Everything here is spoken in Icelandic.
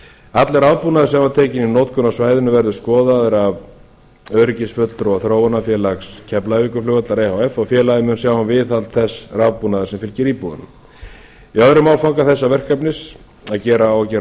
allur aðbúnaður sem var tekinn í notkun á svæðinu verður skoðaður af öryggisfulltrúa þróunarfélags keflavíkurflugvallar efh og félagið mun sjá um viðhald þess rafbúnaðar sem fylgir íbúðunum í öðrum áfanga þessa verkefnis á að gera